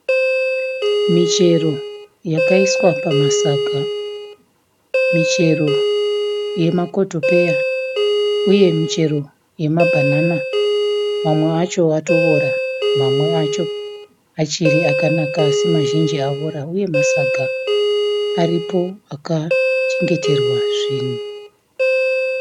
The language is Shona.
Michero yakaiswa pamasaga. Michero yemakotopeya uye michero yemabhanana. Mamwe acho atoora. Mamwe acho achiri akanaka asi mazhinji aora uye masaga paripo akachengeterwa zvinhu.